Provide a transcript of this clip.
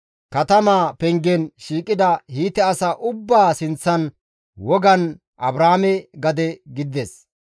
katamaa pengen shiiqida Hiite asaa ubbaa sinththan wogan Abrahaame gade gidides.